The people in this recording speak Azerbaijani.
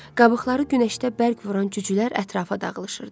Qabıqları günəşdə bərk vuran cücülər ətrafa dağılışırdı.